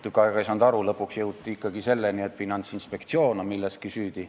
Ma ei saanud tükk aega aru, aga lõpuks jõuti ikkagi selleni, et Finantsinspektsioon on milleski süüdi.